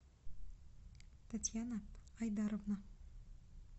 татьяна айдаровна